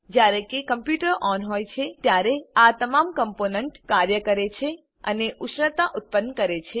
જ્યારે computer on હોય છે ત્યારે આ તમામ કમ્પોનન્ટ કાર્ય કરે છે અને ઉષ્ણતા ઉત્પન્ન કરે છે